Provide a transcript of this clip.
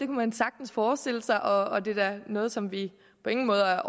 man sagtens forestille sig og det er da noget som vi på ingen måde